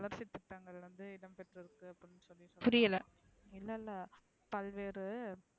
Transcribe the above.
வளர்ச்சி திட்டங்கள் வந்து இடம் பெற்றுக்கு புரியல இல்ல இல்ல பல்வேறு